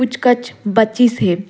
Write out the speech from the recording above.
कुछ कच बची से--